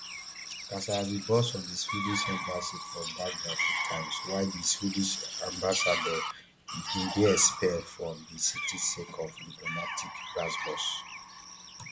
kasala bin burst for di swedish embassy for baghdad two times while di swedish ambassador bin dey expelled from di city sake of diplomatic gbasgbos